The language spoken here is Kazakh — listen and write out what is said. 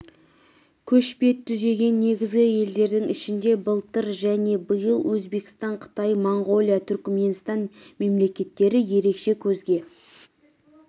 көш бет түзеген негізгі елдердің ішінде былтыр және биыл өзбекстан қытай моңғолия түркіменстан мемлекеттері ерекше көзге